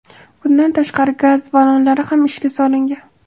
Bundan tashqari, gaz ballonlari ham ishga solingan.